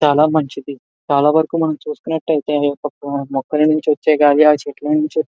చాలా మంచిది. చాలా వరకు మనం చూసుకున్నట్లయితే మొక్కలను వచ్చేది